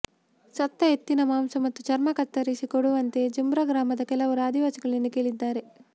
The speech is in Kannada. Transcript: ಸತ್ತ ಎತ್ತಿನ ಮಾಂಸ ಮತ್ತು ಚರ್ಮ ಕತ್ತರಿಸಿ ಕೊಡುವಂತೆ ಜುಮ್ರು ಗ್ರಾಮದ ಕೆಲವರು ಆದಿವಾಸಿಗಳನ್ನು ಕೇಳಿದ್ದಾರೆ